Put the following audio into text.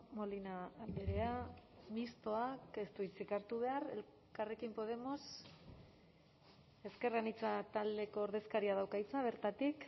molina andrea mistoak ez du hitzik hartu behar elkarrekin podemos ezker anitza taldeko ordezkariak dauka hitza bertatik